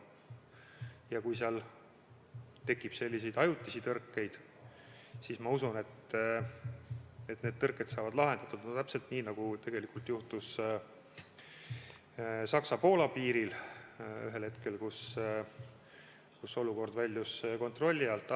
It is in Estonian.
Ja kui seal tekib selliseid ajutisi tõrkeid, siis ma usun, et need tõrked saavad lahendatud täpselt nii, nagu juhtus Saksa-Poola piiril ühel hetkel, kus olukord väljus kontrolli alt.